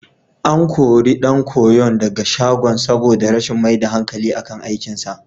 An kori ɗan koyon daga shagon saboda rashin mai da hankali akan aikinsa.